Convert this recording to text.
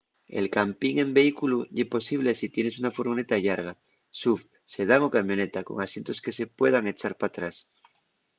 el campin en vehículu ye posible si tienes una furgoneta llarga suv sedán o camioneta con asientos que se puedan echar p’atrás